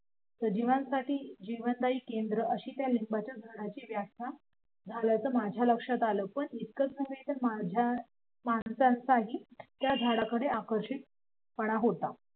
सजीवांसाठी जीवनदायी केंद्र अशी त्या लिंबाच्या झाडाची व्याख्या झाल्याचं माझ्या लक्षात आलं पण इतकाच नव्हे तर माणसाची त्या झाडाकडं आकर्षित पण होता